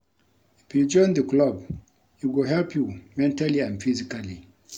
If you join the club e go help you mentally and physically